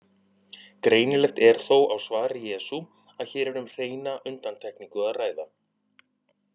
Greinilegt er þó á svari Jesú að hér er um hreina undantekningu að ræða.